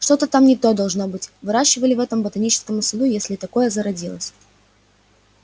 что-то там не то должно быть выращивали в этом ботаническом саду если там такое зародилось